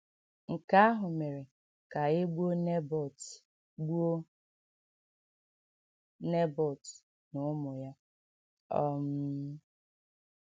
Nke ahụ mere ka e gbuo Nèbọt gbuo Nèbọt na ụmụ ya. um